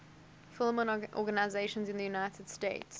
film organizations in the united states